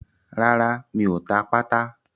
Rárá, mi ò ta pátà.